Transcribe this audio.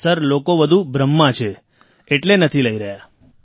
sir લોકો વધુ ભ્રમમાં છે સર એટલે નથી લઈ રહ્યા